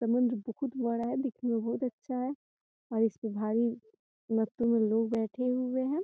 समुन्द्र बोहुत बड़ा है दिखने में बोहत अच्छा है और इसमें भारी मात्रा में लोग बैठे हुए हैं।